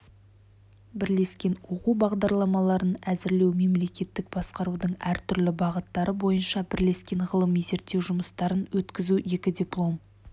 бірлескен оқу бағдарламаларын әзірлеу мемлекеттік басқарудың әртүрлі бағыттары бойынша бірлескен ғылыми-зерттеу жұмыстарын өткізу екі диплом